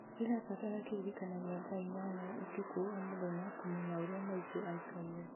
ndĩrabatara kĩririkania gĩa thaa inyanya ũtukũ o mũthenya kũmenya ũrĩa maitũ aikaire